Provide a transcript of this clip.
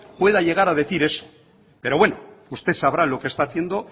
pueda llegar a decir eso pero bueno usted sabrá lo que está haciendo